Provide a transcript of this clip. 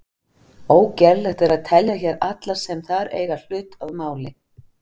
Ógerlegt er að telja hér alla sem þar eiga hlut að máli.